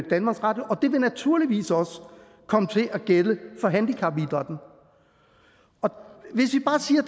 danmarks radio og det vil naturligvis også komme til at gælde for handicapidrætten hvis vi bare siger